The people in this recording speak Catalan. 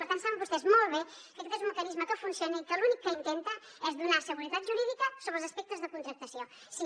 per tant saben vostès molt bé que aquest és un mecanisme que funciona i que l’únic que intenta és donar seguretat jurídica sobre els aspectes de contractació sí